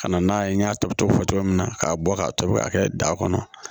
Ka na n'a ye n y'a tobi cogo fɔ cogo min na k'a bɔ k'a tobi ka kɛ da kɔnɔ